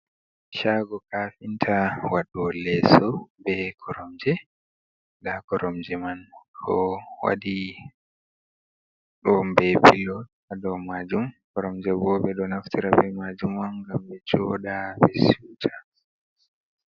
Chago kafinta waɗo o leeso, be koromje. Nda koromje man ɗo waɗi ɗon be pilo ha dou majum, koromje bo ɓe ɗo naftira be majum on ngam be joɗa ɓe siuta.